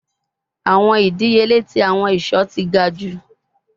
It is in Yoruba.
Awọn idiyele ti awọn iṣọ ti ga ju